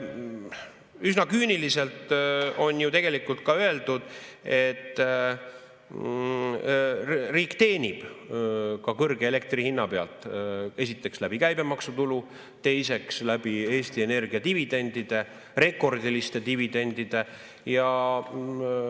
Üsna küüniliselt on ju tegelikult ka öeldud, et riik teenib kõrge elektri hinna pealt – esiteks, käibemaksutulu kaudu, teiseks, Eesti Energia dividendide, rekordiliste dividendide kaudu.